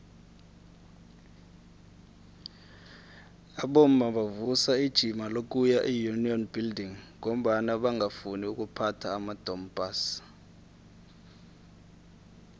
abomma bavusa ijima lokuya eunion buildings ngombana bangafuni ukuphatha amadompass